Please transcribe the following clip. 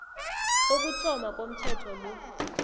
kokuthoma komthetho lo